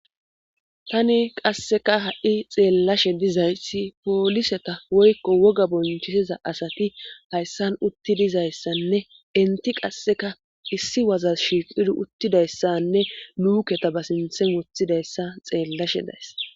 tani qasseka ha7i xeellashe dizaysi pooliseta woykko woga bonchisiza asati hayssan utti dizayssanne inti qasseka issi wazaz shiqidi uttidayssanne luuketa ba sinthe wuthidayssa xeellashe days